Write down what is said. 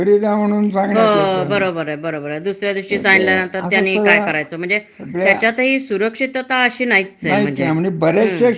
हो. Automobile industry ए. म्हणजे अस बगायला गेल तर भरपूर म्हणजे कामाचे क्षेत्र खूप एत पण सगळीकडेच ही नाही मिळत. म्हणजे